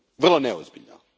Vrlo neozbiljno!